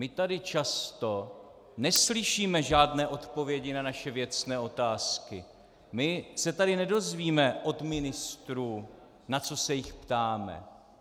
My tady často neslyšíme žádné odpovědi na naše věcné otázky, my se tady nedozvíme od ministrů, na co se jich ptáme.